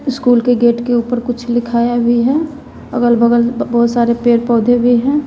School के gate के ऊपर कुछ लिखाया भी है अगल बगल बहुत सारे पेड़ पौधे भी हैं।